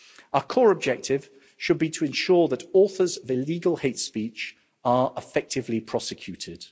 Our core objective should be to ensure that authors of illegal hate speech are effectively prosecuted.